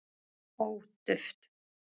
ó duft